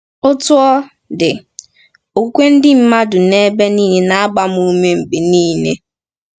Otú ọ dị, okwukwe ndị mmadụ n’ebe nile na-agba m ume mgbe niile.